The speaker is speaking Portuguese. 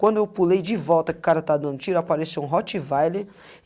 Quando eu pulei de volta que o cara estava dando tiro, apareceu um rottweiler.